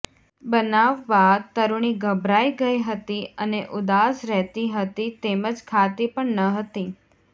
બનાવ બાદ તરૃણી ગભરાઈ ગઈ હતી અને ઉદાસ રહેતી હતી તેમજ ખાતી પણ ન હતી